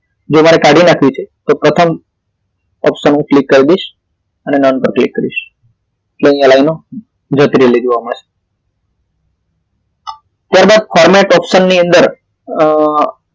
જો મારે કાઢી નાખવી છે તો પ્રથમ option પર હું ક્લિક કરી દઇશ અને non પર ક્લિક કરીશ એટલે અહી લાઈનો જતી રહેલી જોવા મળશે ત્યારબાદ format option ની અંદર અ